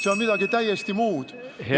See on midagi täiesti muud.